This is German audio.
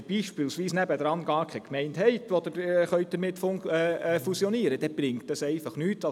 Wenn man beispielsweise nebenan keine Gemeinde hat, mit welcher man fusionieren kann, bringt es nichts.